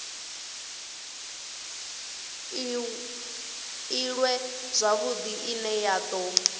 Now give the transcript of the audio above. iṅwe zwavhudi ine ya do